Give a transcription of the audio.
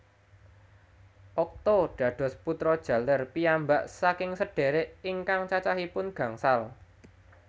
Okto dados putra jaler piyambak saking sedhérék ingkang cacahipun gangsal